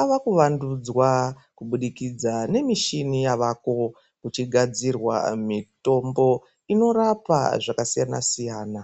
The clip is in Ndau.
Ava kuvandudzwa kubudikidza nemishani yavako kuchigadzirwa mitombo inorapa zvakasiyana-siyana.